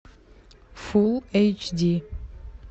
фулл эйч ди